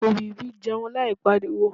òwìwí jẹun láì pariwo